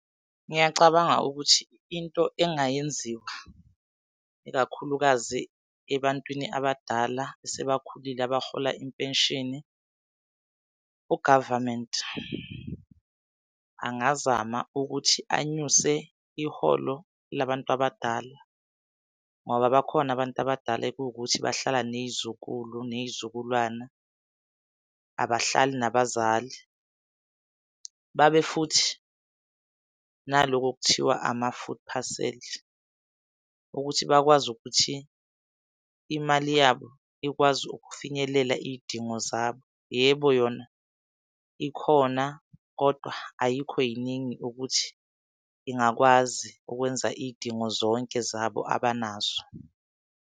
Ngiyacabanga ukuthi into engayenziwa, ikakhulukazi ebantwini abadala asebakhulile abarhola impenishini, u-government angazama ukuthi anyuse iholo labantu abadala. Ngoba bakhona abantu abadala ekuwukuthi bahlala ney'zukulu ney'zukulwane abahlali nabazali. Babe futhi naloku okuthiwa ama-food phaseli, ukuthi bakwazi ukuthi imali yabo ikwazi ukufinyelela iy'dingo zabo. Yebo, yona ikhona kodwa ayikho yiningi ukuthi ingakwazi ukwenza iy'dingo zonke zabo abanazo.